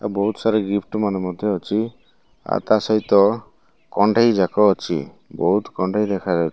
ବହୁତ୍ ସାରା ଗିଫ୍ଟ ମାନ ମଧ୍ୟ ଅଛି ଆଉ ତା ସହିତ କଣ୍ଢେଇ ଯାକ ଅଛି ବହୁତ୍ କଣ୍ଢେଇ ଦେଖା --